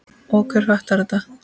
Og hver fattar þetta?